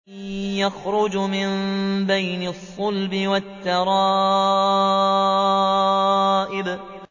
يَخْرُجُ مِن بَيْنِ الصُّلْبِ وَالتَّرَائِبِ